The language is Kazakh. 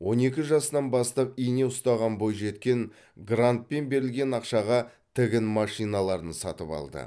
он екі жасынан бастап ине ұстаған бойжеткен грантпен берілген ақшаға тігін машиналарын сатып алды